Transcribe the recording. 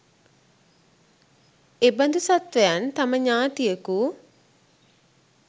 එබඳු සත්වයන් තම ඥාතියකු